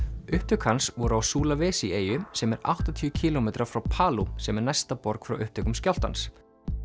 upptök hans voru á eyju sem er áttatíu kílómetra frá sem er næsta borg frá upptökum skjálftans